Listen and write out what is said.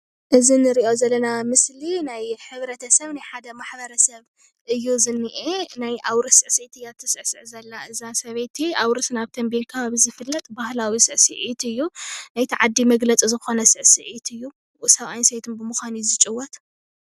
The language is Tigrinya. እዚ እንሪኦ ዘለና ምስሊ ናይ ሕብረተሰብ ናይ ሓደ ማሕበረሰብ እዩ ዝኒሄ፡፡ ናይ ኣውርስ ስዕሲዒት እያ እትስዕስዕ ዘላ እዛ ሰበይቲ ኣውርስ ናብ ቴምቢየን ኣከባቢ ዝፍለጥ ባህላዊ ስዕስዒት እዩ፡፡ ናይ እቲ ዓዲ መግለፂ ዝኮነ ስዕሲዒት እዩ፡፡ ሰብኣይን ሰበይትን ብምኳን እዩ ዝፅወት፡፡